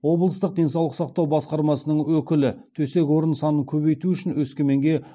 облыстық денсаулық сақтау басқармасының өкілі төсек орын санын көбейту үшін өскеменге